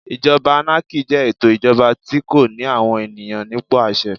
Ìjọba ánákì jẹ́ ètò ìjọba tí kò ní àwọn ènìyàn nípò àṣẹ.